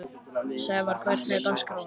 Snævarr, hvernig er dagskráin?